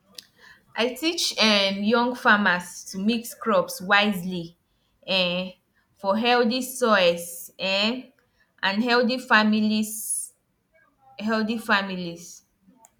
i teach um young farmers to mix crops wisely um for healthy soil um and healthy families healthy families